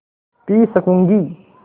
P सकँूगी